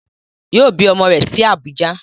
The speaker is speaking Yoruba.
Yoo bi ọmọ rẹ̀ sí Abùjá